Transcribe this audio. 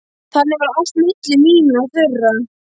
Þannig var allt milli mín og þeirra.